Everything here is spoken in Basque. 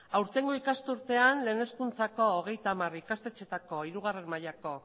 aurtengo ikasturtean lehen hezkuntzako hogeita hamar ikastetxeetako hirugarrena mailako